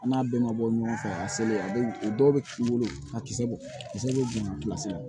An n'a bɛɛ ma bɔ ɲɔgɔn fɛ a selen a bɛ o dɔw bɛ k'i bolo a kisɛ bɔ a kisɛ bɛ juya kilasi la